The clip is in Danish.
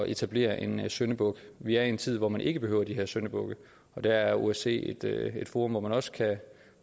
etablere en syndebuk vi er i en tid hvor man ikke behøver de her syndebukke og der er osce i et forum hvor man også kan